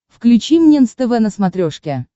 включи мне нств на смотрешке